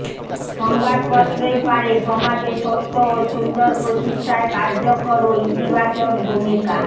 সংবাদপত্রই পারে সমাজে সত্য ও সুন্দর প্রতিষ্ঠায় কার্যকর ও ইতিবাচক ভূমিকা